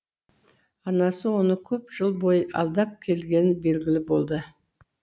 анасы оны көп жыл бойы алдап келгені белгілі болды